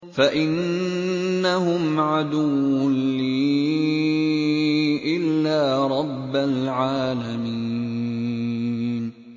فَإِنَّهُمْ عَدُوٌّ لِّي إِلَّا رَبَّ الْعَالَمِينَ